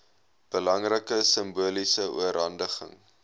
belangrike simboliese oorhandiging